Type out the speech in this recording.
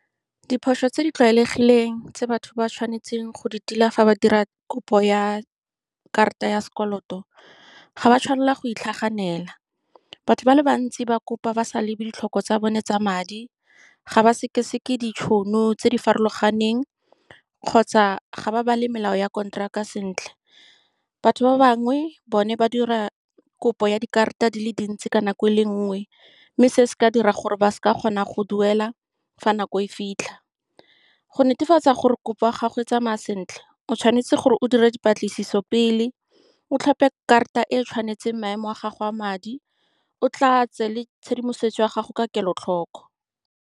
Diphoso tse di tlwaelegileng tse batho ba tshwanetseng go di tila fa ba dira kopo ya karata ya sekoloto, ga ba tshwanela go itlhaganela, batho ba le bantsi ba kopa ba sa lebe ditlhoko tsa bone tsa madi, ga ba sekeseke ditšhono tse di farologaneng. Kgotsa ga ba bale melao ya kontraka sentle. Batho ba bangwe, bone, ba dira kopo ya dikarata di le dintsi ka nako e le nngwe. Mme se se ka dira gore ba seke ba kgona go duela fa nako e fitlha. Go netefatsa gore kopo ya gago e tsamaya sentle, o tshwanetse gore o dira dipatlisiso pele, o tlhope karata e e tshwanetseng maemo a gago a madi, o tla tse le tshedimosetso ya gago ka kelotlhoko.